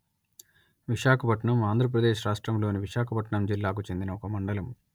విశాఖపట్నం ఆంధ్ర ప్రదేశ్ రాష్ట్రములోని విశాఖపట్నం జిల్లాకు చెందిన ఒక మండలము